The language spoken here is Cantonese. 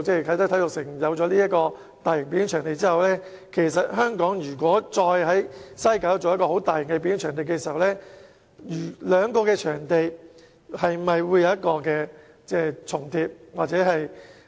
啟德體育園設立大型表演場地後，如果再在西九文化區建設大型表演場地，兩個場地是否會重疊？